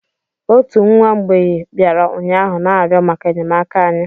Otu nwa mgbei bịara ụnyaahụ na-arịọ maka enyemaka anyị